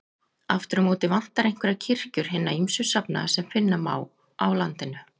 Aftur á móti vantar einhverjar kirkjur hinna ýmsu safnaða sem finna má á landinu.